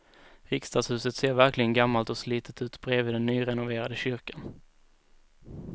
Riksdagshuset ser verkligen gammalt och slitet ut bredvid den nyrenoverade kyrkan.